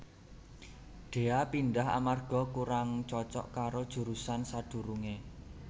Dhea pindhah amarga kurang cocok karo jurusan sadurunge